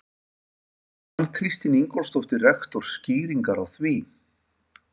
Kann Kristín Ingólfsdóttir, rektor, skýringar á því?